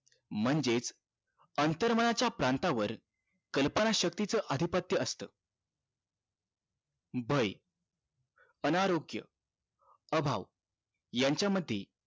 म्हणजेच अंतर मनाच्या प्रांतावर कल्पना शक्ती च अधिपत्य असत भय अनारोग्य अभाव यांच्या मध्ये